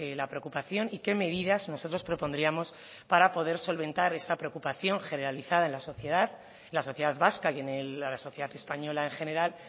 la preocupación y qué medidas nosotros propondríamos para poder solventar esta preocupación generalizada en la sociedad en la sociedad vasca y la sociedad española en general